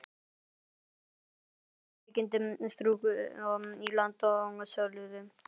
Menn gerðu sér upp veikindi, struku í land og svölluðu.